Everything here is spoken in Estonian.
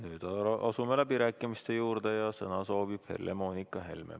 Nüüd aga asume läbirääkimiste juurde ja sõna soovib Helle-Moonika Helme.